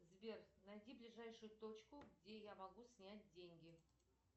сбер найди ближайшую точку где я могу снять деньги